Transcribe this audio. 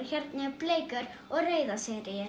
hérna eru bleikar og rauðar